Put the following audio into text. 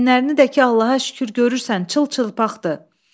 Əyinlərini də ki, Allaha şükür, görürsən, çılçıpaqdır.